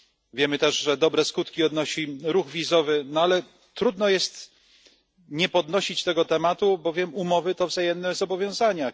Wiemy też, że dobre skutki odnosi ruch wizowy, no ale trudno jest nie podnosić tego tematu, bowiem umowy to wzajemne zobowiązania.